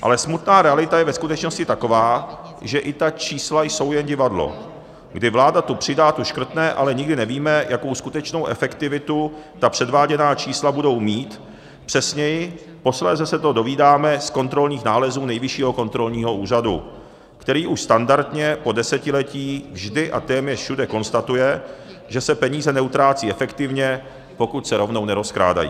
Ale smutná realita je ve skutečnosti taková, že i ta čísla jsou jen divadlo, kdy vláda tu přidá, tu škrtne, ale nikdy nevíme, jakou skutečnou efektivitu ta předváděná čísla budou mít, přesněji, posléze se to dozvídáme z kontrolních nálezů Nejvyššího kontrolního úřadu, který už standardně po desetiletí vždy a téměř všude konstatuje, že se peníze neutrácejí efektivně, pokud se rovnou nerozkrádají.